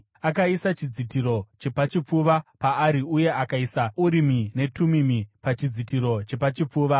Akaisa chidzitiro chepachipfuva paari uye akaisa Urimi neTumimi pachidzitiro chepachipfuva.